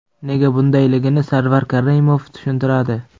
Nega bundayligini Sarvar Karimov tushuntiradi.